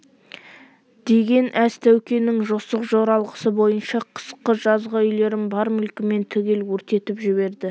деген әз тәукенің жосық-жоралғысы бойынша қысқы-жазғы үйлерін бар мүлкімен түгел өртетіп жіберді